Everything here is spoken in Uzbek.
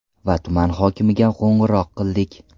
Va tuman hokimiga qo‘ng‘iroq qildik.